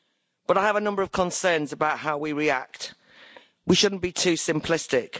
But I have a number of concerns about how we react we shouldn't be too simplistic.